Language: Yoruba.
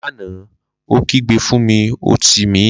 Lana, o kigbe fun mi ọti mi!